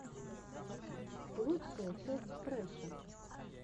лучшая часть фрэша